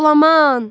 Jolaman!